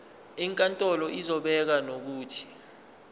inkantolo izobeka nokuthi